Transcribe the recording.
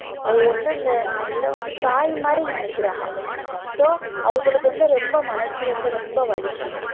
அவங்க வந்து அந்த நெல்லை வந்து தாய் மாதிரி நினைக்கிறாக so அவங்களுக்கு வந்து ரொம்ப மனசு வந்து ரொம்ப வலிக்கும்